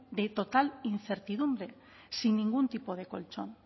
de total incertidumbre sin ningún tipo de colchón